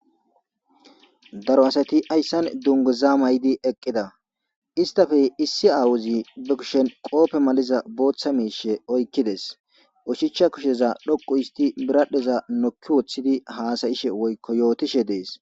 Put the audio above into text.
Daro asati ayssan dunguzaa may'idi eqqida istafe issi aawuzi bekishen qoope maliza booththa miishe oykkides ushichcha kusheza dhoquisti biradheza nokki woththidi haasayishe woykko yootishe dees.